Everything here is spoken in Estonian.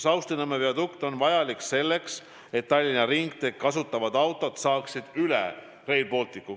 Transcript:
Saustinõmme viadukt on vajalik selleks, et Tallinna ringteed kasutavad autod saaksid üle Rail Balticu.